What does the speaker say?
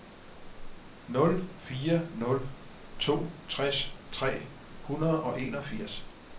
nul fire nul to tres tre hundrede og enogfirs